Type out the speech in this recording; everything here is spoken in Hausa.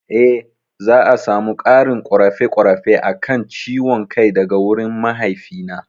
Eh za'a samu ƙarin ƙorafe ƙorafe akan ciwon kai daga wurin mahaifi na